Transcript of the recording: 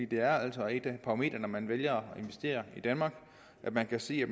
det er altså et parameter når man vælger at investere i danmark at man kan se at